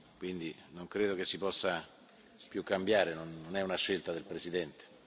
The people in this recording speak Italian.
quindi non credo che si possa più cambiare, non è una scelta del Presidente.